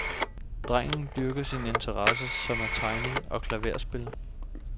Drengen dyrker sine interesser, som er tegning og klaverspil.